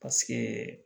Paseke